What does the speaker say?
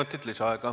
Kolm minutit lisaaega.